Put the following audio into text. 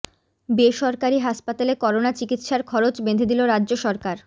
বেসরকারি হাসপাতালে করোনা চিকিৎসার খরচ বেঁধে দিল রাজ্য সরকার